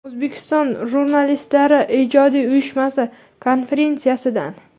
O‘zbekiston Jurnalistlari ijodiy uyushmasi konferensiyasidan.